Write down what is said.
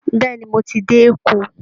Bẹ́ẹ̀ ni, mo ti dé Èkó